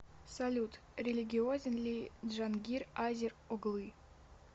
салют религиозен ли джангир азер оглы